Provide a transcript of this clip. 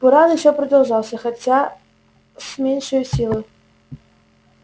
буран ещё продолжался хотя с меньшею силою